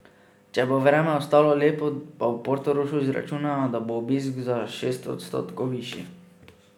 Če bo vreme ostalo lepo, pa v Portorožu računajo, da bo obisk za šest odstotkov višji.